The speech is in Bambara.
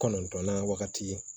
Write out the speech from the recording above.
Kɔnɔntɔnnan wagati